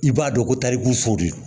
I b'a dɔn ko tariku fori